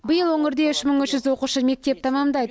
биыл өңірде үш мың үш жүз оқушы мектеп тәмамдайды